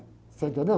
Você entendeu?